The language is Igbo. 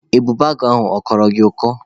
Ebubeagụ ahụ ọ ghọrọ gị ọkọ?